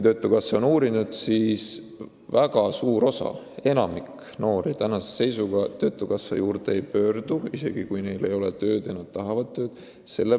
Töötukassa on asja uurinud ja on selgunud, et enamik noori töötukassa poole ei pöördu, isegi kui neil ei ole tööd ja nad tahavad tööd.